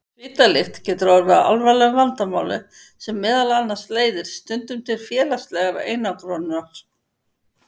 Svitalykt getur orðið að alvarlegu vandamáli sem meðal annars leiðir stundum til félagslegrar einangrunar.